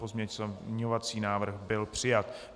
Pozměňovací návrh byl přijat.